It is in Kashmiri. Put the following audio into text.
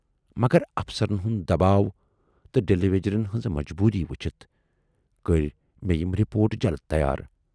مگر افسرن ہُند دباو تہٕ ڈیلی ویجرن ہٕنزِ مجبوٗری وُچھِتھ کٔرۍ مےٚ یِم رِپورٹ جلد تیار۔